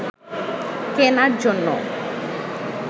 কেনার জন্য